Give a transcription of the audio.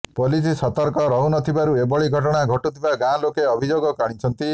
police ସତର୍କ ରହୁନଥିବାରୁ ଏଭଳି ଘଟଣା ଘଟୁଥିବା ଗାଁ ଲୋକେ ଅଭିଯୋଗ ଆଣିଛନ୍ତି